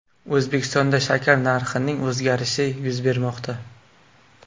O‘zbekistonda shakar narxining o‘zgarishi yuz bermoqda.